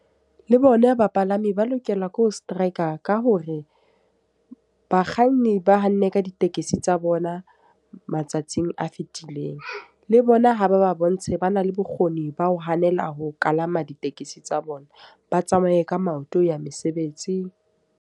Le bona bapalami ba lokelwa ke ho strike ka hore, bakganni ba hanne ka ditekesi tsa bona matsatsing a fitileng. Le bona ha ba ba bontshe ba na le bokgoni ba ho hanela ho kalama ditekesi tsa bona, ba tsamaye ka maoto ho ya mesebetsi.